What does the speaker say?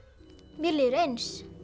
mér líður eins